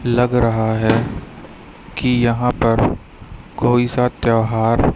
लग रहा है कि यहां पर कोई सा त्यौहार--